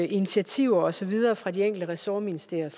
initiativer og så videre fra de enkelte ressortministerier